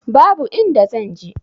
Babu inda zan je.